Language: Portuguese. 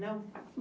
Não?